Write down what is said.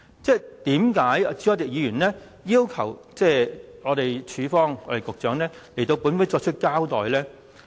為甚麼朱凱廸議員要求局長向本會作出交代呢？